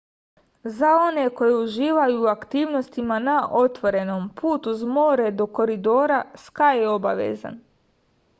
za one koji uživaju u aktivnostima na otvorenom put uz more do koridora skaj je obavezan